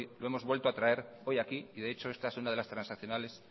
lo hemos vuelto a traer hoy aquí de hecho esta es una de las transaccionales